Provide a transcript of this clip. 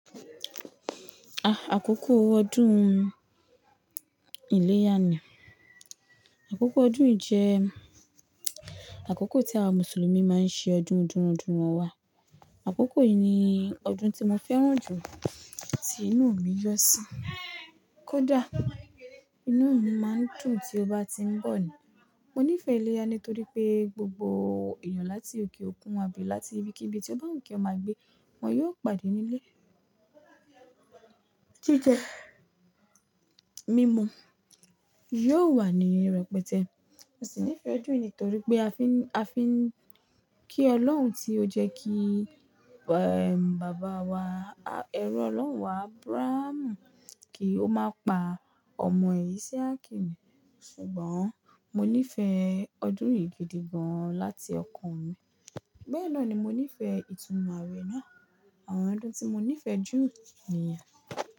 Ah! Àkókò ọdún Ìléyà ni. Àkókò ọdún yìí jẹ àkókò tí àwọn Mùsùlùmí máa ń ṣe ọdún dúndúndún wọn wá. Àkókò yìí ni ọdún tí mo fẹ́ràn jù tí inú mi yọ sí. Kódà inú mi má ń dùn tí ó bá ti ń bọ̀ ni. Mo nífẹ̀ ìléyà nítorí pé gbogbo èèyàn láti òkè òkun àbí láti ibikíbi tí ọ ba wu kí ọma gbé, wọ́n yóò pàdé nílé. Jíjẹ mímú yóò wà níi repetẹ́. Mo sì nífẹ̀ẹ́ ọdún yìí nítorí pé a fi ń, a fi ń kí Ọlọ́run tí ó jẹ́ kí! Bàbá wa, ẹrú Ọlọ́run wa Ábúráhámù kí ó má pa ọmọ re Ísmaeel. Ṣùgbọ́n mo nífẹ̀ẹ́ ọdún yìí gidi gan láti ọkàn mi. Bẹ́ẹ̀ náà ni mo nífẹ̀ẹ́ ìtúnu àwẹ̀ náà. Àwọn ọdún tí mo nífẹ̀ẹ́ jù niyen.